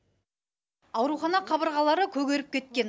аурухана қабырғалары көгеріп кеткен